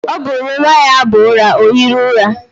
Ọ gụrụla nwa ya abụ nwa, ọ hiri ụra.